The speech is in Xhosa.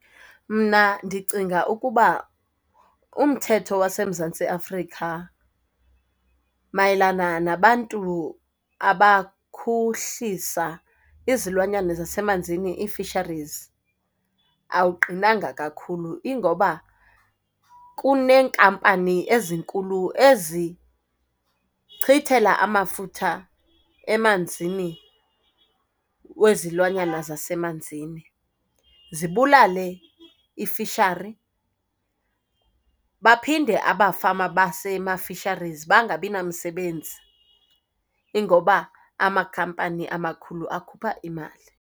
Mna ndicinga ukuba umthetho waseMzantsi Afrika mayelana nabantu abakhuhlisa izilwanyana zasemanzini, ii-fisheries, awuqinanga kakhulu. Ingoba kuneenkampani ezinkulu ezichithela amafutha emanzini wezilwanyana zasemanzini, zibulale i-fishery. Baphinde abafama basema-fisheries bangabinamsebenzi. Ingoba amakhampani amakhulu akhupha imali.